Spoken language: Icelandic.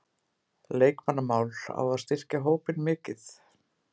Leikmannamál, á að styrkja hópinn mikið?